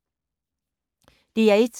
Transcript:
DR1